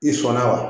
I sɔnna wa